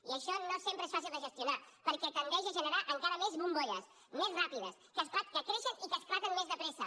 i això no sempre és fàcil de gestionar perquè tendeix a generar encara més bombolles més ràpides que creixen i que esclaten més de pressa